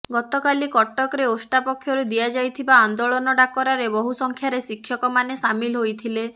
ଗତକାଲି କଟକରେ ଓଷ୍ଟା ପକ୍ଷରୁ ଦିଆଯାଇଥିବା ଆନ୍ଦୋଳନ ଡାକରାରେ ବହୁ ସଂଖ୍ୟାରେ ଶିକ୍ଷକମାନେ ସାମିଲ ହୋଇଥିଲେ